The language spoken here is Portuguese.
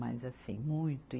Mas, assim, muito.